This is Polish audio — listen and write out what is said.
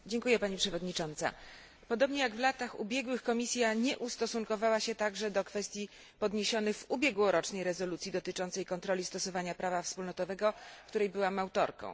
w imieniu grupy PSE. Pani przewodnicząca! Podobnie jak w latach ubiegłych Komisja nie ustosunkowała się do kwestii podniesionych w ubiegłorocznej rezolucji dotyczącej kontroli stosowania prawa wspólnotowego, której byłam autorką.